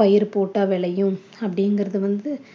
பயிர் போட்டா விலையும் அப்படிங்கறத வந்து